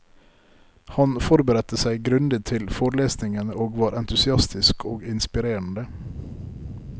Han forberedte seg grundig til forelesningene og var entusiastisk og inspirerende.